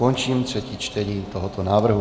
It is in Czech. Končím třetí čtení tohoto návrhu.